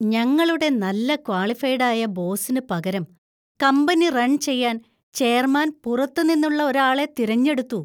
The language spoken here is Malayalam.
ഞങ്ങളുടെ നല്ല ക്വാളിഫൈഡ് ആയ ബോസിന് പകരം കമ്പനി റൺ ചെയ്യാൻ ചെയർമാൻ പുറത്തുനിന്നുള്ള ഒരാളെ തിരഞ്ഞെടുത്തു.